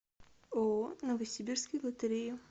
ооо новосибирские лотереи